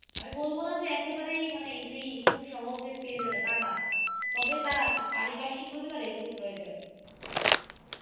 আমি বলবোনা যে একেবারেই মানে easy খুব সহজে পেয়ে যাবে, তা না। তবে তার আত্ম পরিপার্শিকভাবে তার এগুলোর প্রয়োজন।